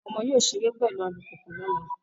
Àwọn ọmọ yóò ṣeré pẹ̀lú alùpùpù lọ́la.